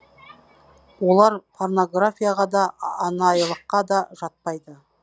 олар порнографияға да анайылыққа да жатпайды